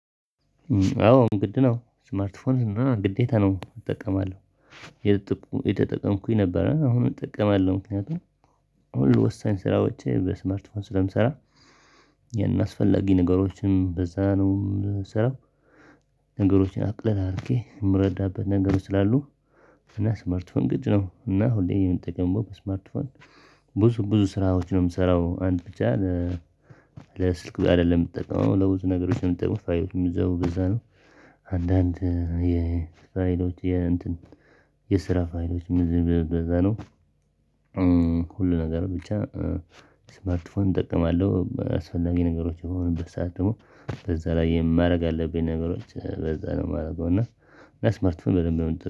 አዎ ግድ ነው ስማርትፎን እና ግዴታ ነው እጠቀማለው። አየተጠቀምኩኝ ነበረ አሁን እጠቀማለው ምክንያቱም ሁሉ ወሳኝ ስራዎችን በስመርትፎን ስለምሰራ የእናስፈላጊ ነገሮችን በዛ ነው የምሰራው ነገሮችን አቅል አሪጌ የምረዳበት ነገሮች ስላሉ ፍና ስማርትፎን ግድ ነው እና ሁሌ ይሄን ምጠቀመው በስማርትፎን ብዙ ብዙ ስራዎች ነው የምሰራው አንድ ብቻ ለስልክ አይደለም የምትጠቀመው ለብዙ ነገሮች ነው የምትጠቀመው ፋይል የሚዘው በዛ ነው። አንዳንድ የፋይሎች የስራ ፋይሎች በዛ ነው። ሁሉ ነገር ብቻ ስማርትፎን እጠቀማለው አስፈላጊ ነገሮች የሆኑበት ሰዓት ደግሞ በዛ ላይ የማደርግ አለብኝ ነገሮች በዛ ነው የማደርገው እና ስማርትፎን በደንብ